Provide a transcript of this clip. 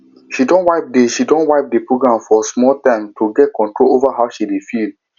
she don wipe the don wipe the program for small time to get control over how she dey feel